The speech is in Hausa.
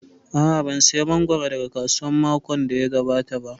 A'a, ban saya mangoro daga kasuwa makon da ya gabata ba